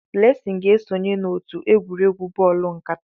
Blessing ga-esonye n'otu egwuregwu bọọlụ nkata.